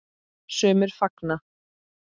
Sumir fagna.